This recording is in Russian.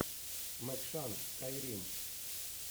мэкшан скайрим